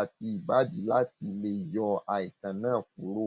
àti ìbàdí láti lè yọ àìsàn náà kúrò